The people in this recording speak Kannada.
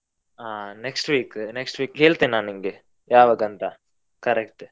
ಆ next week, next week ಹೇಳ್ತೇನೆ ನಾ ನಿನ್ಗೆ ಯಾವಾಗ ಅಂತ correct .